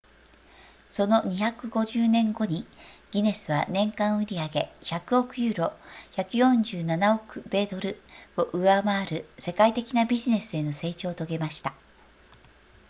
その250年後にギネスは年間売上100億ユーロ147億米ドルを上回る世界的なビジネスへの成長を遂げました